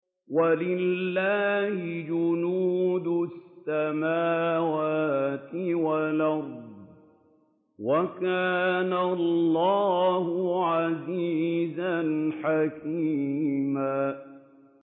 وَلِلَّهِ جُنُودُ السَّمَاوَاتِ وَالْأَرْضِ ۚ وَكَانَ اللَّهُ عَزِيزًا حَكِيمًا